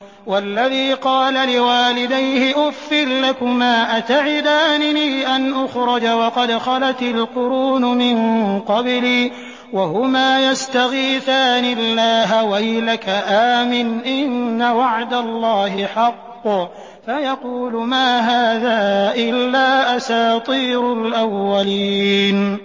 وَالَّذِي قَالَ لِوَالِدَيْهِ أُفٍّ لَّكُمَا أَتَعِدَانِنِي أَنْ أُخْرَجَ وَقَدْ خَلَتِ الْقُرُونُ مِن قَبْلِي وَهُمَا يَسْتَغِيثَانِ اللَّهَ وَيْلَكَ آمِنْ إِنَّ وَعْدَ اللَّهِ حَقٌّ فَيَقُولُ مَا هَٰذَا إِلَّا أَسَاطِيرُ الْأَوَّلِينَ